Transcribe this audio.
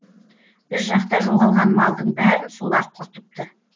біз жақта жоғалған малдың бәрін солар құртыпты